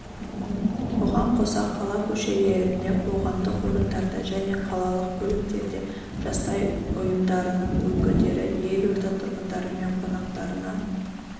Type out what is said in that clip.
бұған қоса қала көшелерінде қоғамдық орындарда және қалалық көліктерде жастар ұйымдарының өкілдері елорда тұрғындары мен қонақтарына